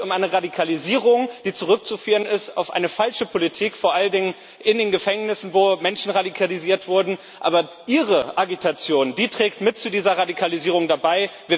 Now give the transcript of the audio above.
Es geht um eine Radikalisierung, die zurückzuführen ist auf eine falsche Politik vor allen Dingen in den Gefängnissen, wo Menschen radikalisiert wurden aber Ihre Agitation trägt mit zu dieser Radikalisierung bei.